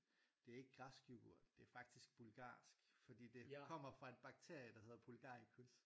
Det er ikke græsk yoghurt det er faktisk bulgarsk fordi kommer fra en bakterie der hedder bulgaricus